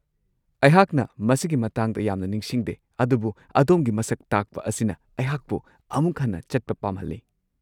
ꯑꯩꯍꯥꯛꯅ ꯃꯁꯤꯒꯤ ꯃꯇꯥꯡꯗ ꯌꯥꯝꯅ ꯅꯤꯡꯁꯤꯡꯗꯦ ꯑꯗꯨꯕꯨ ꯑꯗꯣꯝꯒꯤ ꯃꯁꯛ ꯇꯥꯛꯄ ꯑꯁꯤꯅ ꯑꯩꯍꯥꯛꯄꯨ ꯑꯃꯨꯛ ꯍꯟꯅ ꯆꯠꯄ ꯄꯥꯝꯍꯜꯂꯤ꯫